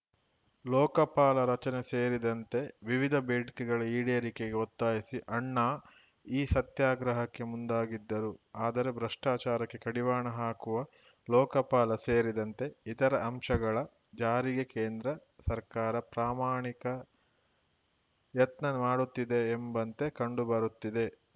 ಲೋಕಪಾಲ ರಚನೆ ಸೇರಿದಂತೆ ವಿವಿಧ ಬೇಡಿಕೆಗಳ ಈಡೇರಿಕೆಗೆ ಒತ್ತಾಯಿಸಿ ಅಣ್ಣಾ ಈ ಸತ್ಯಾಗ್ರಹಕ್ಕೆ ಮುಂದಾಗಿದ್ದರು ಆದರೆ ಭ್ರಷ್ಟಾಚಾರಕ್ಕೆ ಕಡಿವಾಣ ಹಾಕುವ ಲೋಕಪಾಲ ಸೇರಿದಂತೆ ಇತರ ಅಂಶಗಳ ಜಾರಿಗೆ ಕೇಂದ್ರ ಸರ್ಕಾರ ಪ್ರಾಮಾಣಿಕ ಯತ್ನ ಮಾಡುತ್ತಿದೆ ಎಂಬಂತೆ ಕಂಡುಬರುತ್ತಿದೆ